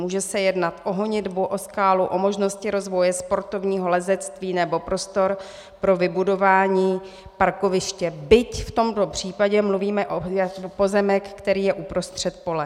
Může se jednat o honitbu, o skálu, o možnosti rozvoje sportovního lezectví nebo prostor pro vybudování parkoviště, byť v tomto případě mluvíme o pozemku, který je uprostřed pole.